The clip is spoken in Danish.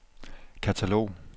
katalog